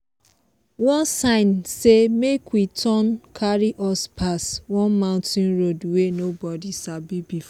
one sign say make we turn carry us pass one mountain road wey nobody sabi before.